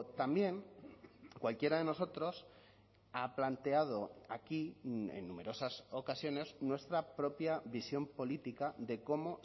también cualquiera de nosotros ha planteado aquí en numerosas ocasiones nuestra propia visión política de cómo